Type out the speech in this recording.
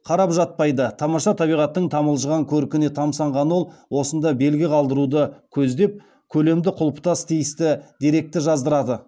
қарап жатпайды тамаша табиғаттың тамылжыған көркіне тамсанған ол осында белгі қалдыруды көздеп көлемді құлпытасқа тиісті деректі жаздырады